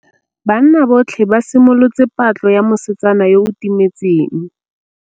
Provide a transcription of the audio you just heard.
Banna botlhê ba simolotse patlô ya mosetsana yo o timetseng.